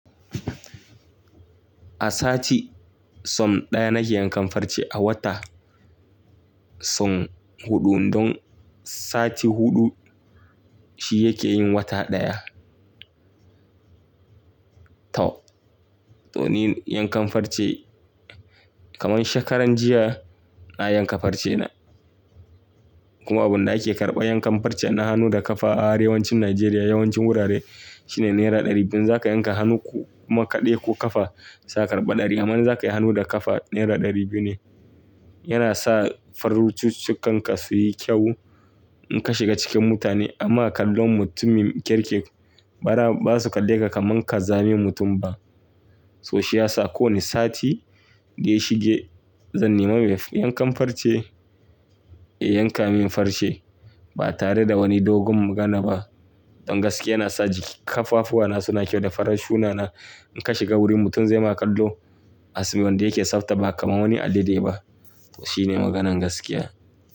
A sati sau ɗaya nake yankan farce a wata sau huɗu don sati huɗu shi yake yin wata ɗaya. To, to ni yankan farce kamar shekaran jiya na yanka farce na. Kuma abunda ake karɓa yankan farce na hannu da kafa a arewacin Najeriya yawancin wurare shine naira ɗari biyu. Ina zaka yanke hannu kuma kaɗai ko kafa za a karɓa ɗari amma in za kai hannu da kafa naira ɗari biyu ne. Yana sa farcincikan ka su yi ƙyau in ka shiga cikin mutane ama kallon mutumin kirki ba za su kalle ka kaman ƙazamin mutum ba. To shi ya sa kowane sati da ya shige zan nema mai yankan farce ya yanke min farce ba tare da wani dogon magana ba. Don gaskiya yana sa jiki da ƙafafuna suna ƙyau da farcina na. In ka shiga wurin mutum ze ma kallo as wanda yake tsafta ba kamar wani Alaɗe ba. To shine maganan gaskiya.